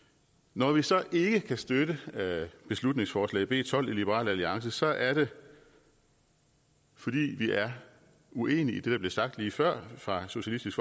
når vi så ikke kan støtte beslutningsforslag b tolv i liberal alliance er det fordi vi er uenige i det der blev sagt lige før fra socialistisk